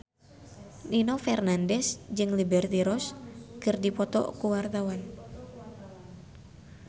Nino Fernandez jeung Liberty Ross keur dipoto ku wartawan